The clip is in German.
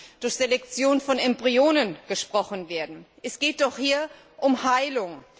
B. Selektion von Embryonen gesprochen werden. Es geht doch hier um Heilung.